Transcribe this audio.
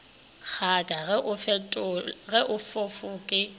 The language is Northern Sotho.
kgaka ge e fofa ke